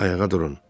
Ayağa durun.